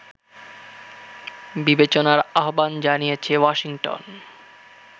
বিবেচনার আহ্বান জানিয়েছে ওয়াশিংটন